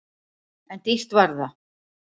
En dýrt var það!